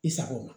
I sago ma